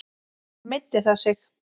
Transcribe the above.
Meiddi það sig?